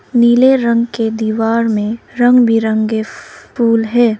नीले रंग के दीवार में रंग बिरंगे फूल हैं।